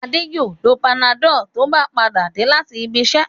Adé yóò lo Panadol tó bá padà dé láti ibiṣẹ́.